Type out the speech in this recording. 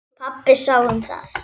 Pabbi sá um það.